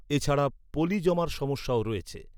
এছাড়া, পলি জমার সমস্যাও রয়েছে।